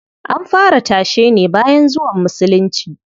An fara tashe ne bayan zuwan Musulunci.